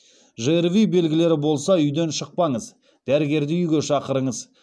жрви белгілері болса үйден шықпаңыз дәрігерді үйге шақырыңыз